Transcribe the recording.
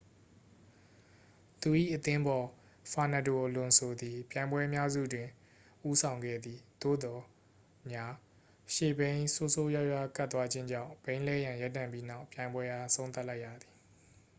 သူ၏ အသင်းဖော် ဖာနက်ဒို အလွန်ဆိုသည် ပြိုင်ပွဲအများစုတင် ဦးဆောင်ခဲ့သည် သို့သော် ညာ ရှေ့ဘီးဆိုးဆိုးရွားရွား ကပ်သွားခြင်းကြောင့် ဘီးလဲရန် ရပ်တန့်ပြီးနောက် ပြိုင်ပွဲအား အဆုံးသတ်လိုက်ရသည်